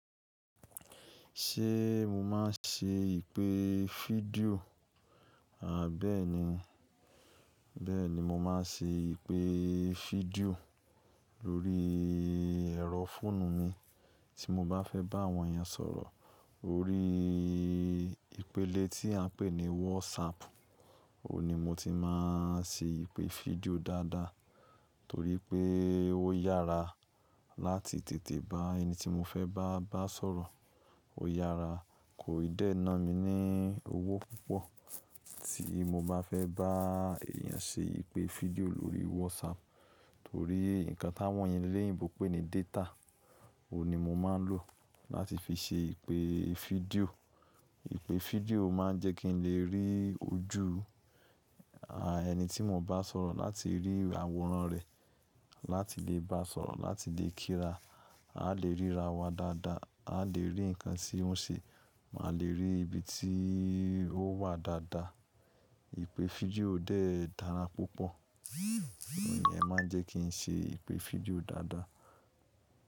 Ṣé mo máa ń ṣe ìpè fídíò? Bẹ́ẹ̀ni bẹ́ẹ̀ni, mo máa ń ṣe ìpè fídíò ní orí ẹ̀rọ fóònù mi tí mo bá fẹ́ bá àwọn èèyàn sọ ọ̀rọ̀ órí ìpele tí a pè ní WhatsApp, òun ní mo ti máa ń ṣe ìpè fídíò dáadáa torí pé ó yára láti tètè bá ẹni tí mo fẹ́ bá bá sọ̀rọ̀. Ó yára, kò ì dẹ́ ná mi ní owó púpọ̀ tí mo bá fẹ́ bá èèyàn ṣe ìpè fídíò lórí WhatsApp torí nǹkan ti áwọn eleyinbo ń pè ní data, òun ní mo máa ń lò láti fi ṣe ìpè fídíò. Ìpè fídíò máa ń jẹ́ kí n lè rí ojú, ẹni tí mo bá sọ̀rọ̀ láti rí àwòrán rẹ̀, láti lè bá a sọ̀rọ̀, láti lè kíra. A lè ríra wa dáadáa, a lè rí ǹkan tí ó ń ṣe, máa lè rí ibi tí ó wà dáadáa. Ìpè fídíò dẹ́ẹ̀ dára púpọ̀. Iyẹn máa ń jẹ́ kí ń ṣe ìpè fídíò dáadáa.